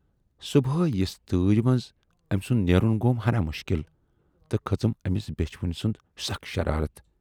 "صُبحے یِژھِ تۭرِ منز ٲمۍ سُند نیرُن گَوم ہَنا مُشکل تہٕ کھژٕم ٲمِس بیچھِ وٕنۍ سٕنز سخ شرارتھ۔